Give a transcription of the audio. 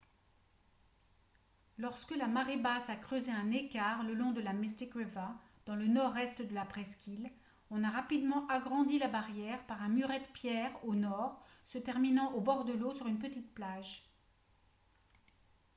lorsque la marée basse a creusé un écart le long de la mystic river dans le nord-est de la presqu'île on a rapidement agrandi la barrière par un muret de pierre au nord se terminant au bord de l'eau sur une petite plage